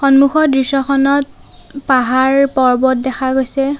সন্মুখৰ দৃশ্যখনত পাহাৰ পৰ্বত দেখা গৈছে।